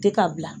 Tɛ ka bila